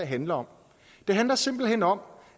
handler om det handler simpelt hen om